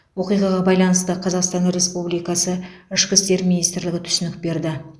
оқиғаға байланысты қазақстан республикасы ішкі істер министрлігі түсінік берді